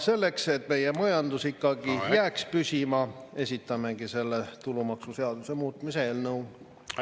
Selleks, et meie majandus jääks ikkagi püsima, esitamegi tulumaksuseaduse muutmise eelnõu.